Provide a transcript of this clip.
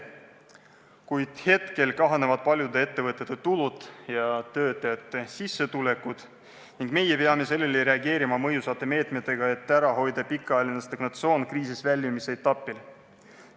Kuid praegu kahanevad paljude ettevõtete tulud ja töötajate sissetulekud ning meie peame sellele reageerima mõjusate meetmetega, et ära hoida pikaajaline stagnatsioon kriisist väljumise ajal.